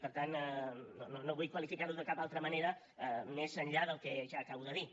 per tant no vull qualificar ho de cap altra manera més enllà del que ja acabo de dir